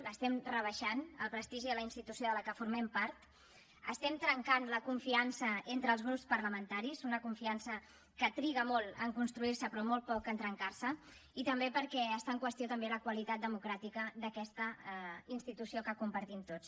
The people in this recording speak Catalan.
l’estem rebaixant el prestigi de la institució de la que formem part estem trencant la confiança entre els grups parlamentaris una confiança que triga molt en construir se però molt poc en trencar se i també perquè està en qüestió també la qualitat democràtica d’aquesta institució que compartim tots